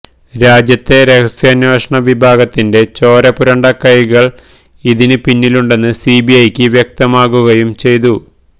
രാജ്യത്തെ രഹസ്യാന്വേഷണ വിഭാഗത്തിന്റെ ചോരപുരണ്ട കൈകള് ഇതിന് പിന്നിലുണ്ടെന്ന് സി ബി ഐക്ക് വ്യക്തമാകുകയും ചെയ്തു